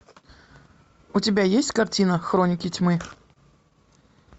у тебя есть картина хроники тьмы